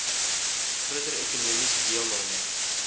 groter ekonomiese deelname